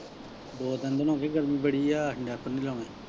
ਦੋ ਤਿੰਨ ਦਿਨ ਹੋ ਗਏ ਗਰਮੀ ਬੜੀ ਆ diaper ਨਹੀਂ ਲਾਉਣੇ।